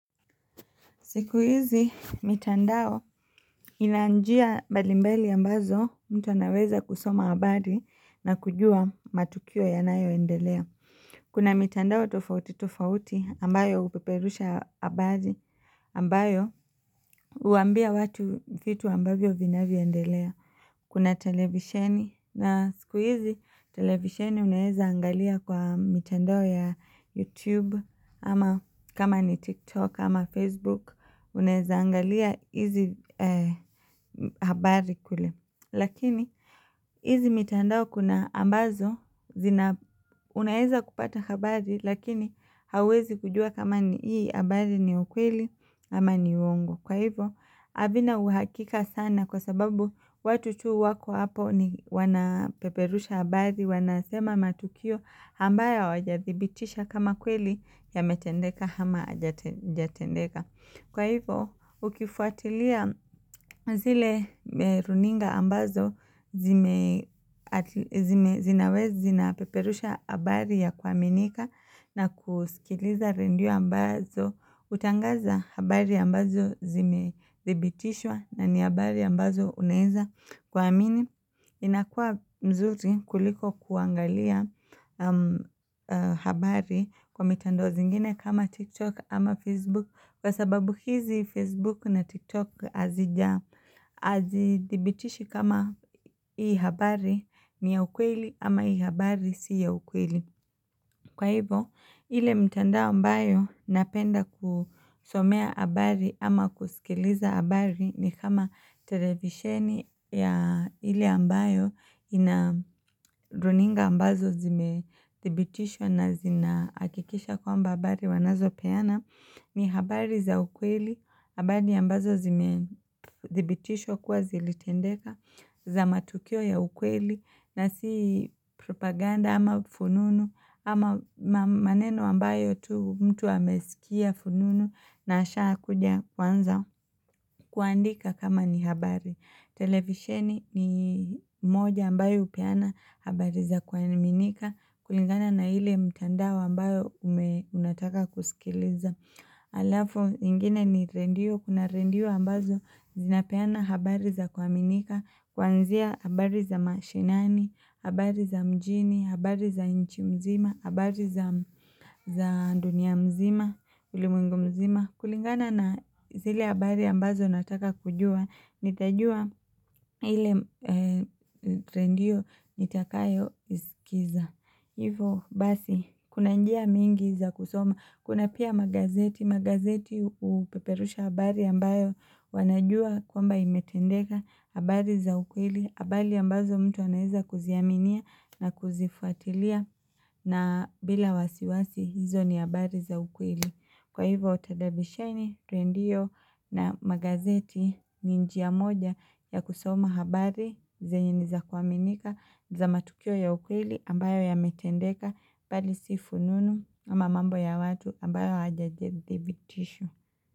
Siku hizi, mitandao ina njia mbali mbali ambazo mtu anaweza kusoma habadi na kujua matukio yanayo endelea. Kuna mitandao tofauti tofauti ambayo hupeperusha abadhi ambayo huambia watu vitu ambavyo vinavyo endelea. Kuna televisheni na siku hizi, televisheni unaeza angalia kwa mitandao ya YouTube ama kama ni TikTok ama Facebook. Unaeza angalia hizi habari kule lakini hizi mitandao kuna ambazo zina Unaeza kupata habari lakini hauwezi kujua kama ni ii habari ni ukweli ama ni uongo Kwa hivo havina uhakika sana kwa sababu watu tu wako hapo ni wanapeperusha habari wanasema matukio ambaye hawaja dhibitisha kama kweli yamemetendeka hama jatendeka Kwa hivo ukifuatilia zile runinga ambazo zime zinawe zina peperusha habari ya kuaminika na kusikiliza rendio ambazo hutangaza habari ambazo zimedhibitishwa na ni habari ambazo unaeza kuamini. Inakua mzuri kuliko kuangalia habari kwa mitandao zingine kama TikTok ama Facebook Kwa sababu hizi Facebook na TikTok hazija hazidhibitishi kama hii habari ni ya ukweli ama hii habari si ya ukweli Kwa hivo, ile mtandao ambayo napenda kusomea abari ama kusikiliza abari ni kama televisheni ya ile ambayo ina runinga ambazo zime thibitisha na zina akikisha kwamba habari wanazo peana. Ni habari za ukweli, habari ambazo zime dhibitishwakuwa zilitendeka za matukio ya ukweli na si propaganda ama fununu ama maneno ambayo tu mtu amesikia fununu na asha kuja kuanza kuandika kama ni habari. Televisheni ni moja ambayo hupeana habari za kuaminika kulingana na ile mtandao ambayo ume unataka kusikiliza Alafu ingine ni rendio kuna rendio ambazo zinapeana habari za kuaminika kuanzia habari za mashinani, habari za mjini, habari za nchi mzima, habari za za dunia mzima, ulimwengu mzima kulingana na zile abari ambazo nataka kujua nitajua ile rendio nitakayo iskiza Hivo basi kuna njia mingi za kusoma kuna pia magazeti. Magazeti hupeperusha habari ambayo wanajua kwamba imetendeka habari za ukweli habari ambazo mtu anaeza kuziaminia na kuzifuatilia na bila wasiwasi hizo ni habari za ukweli kwa hivyo televisheni rendio na magazeti ni njia moja ya kusoma habari zenye niza kuaminika za matukio ya ukweli ambayo yametendeka bali si fununu ama mambo ya watu ambayo hawajajedhibitisha.